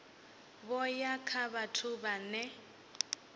vho ya kha vhathu vhane